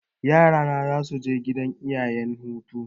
Yara na za su je gidan iyayena hutu.